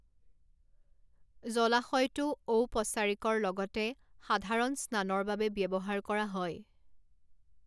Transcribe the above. জলাশয়টো ঔপচাৰিকৰ লগতে সাধাৰণ স্নানৰ বাবে ব্যৱহাৰ কৰা হয়।